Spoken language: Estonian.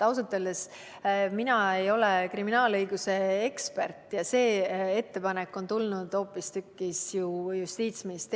Ausalt öeldes mina ei ole kriminaalõiguse ekspert ja see ettepanek on tulnud hoopistükkis Justiitsministeeriumist.